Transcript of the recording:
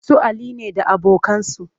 Su Ali ne da abokansu